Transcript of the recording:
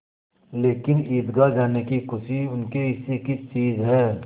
लेकिन ईदगाह जाने की खुशी उनके हिस्से की चीज़ है